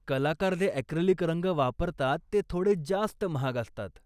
कलाकार जे अक्रीलिक रंग वापरतात ते थोडे जास्त महाग असतात.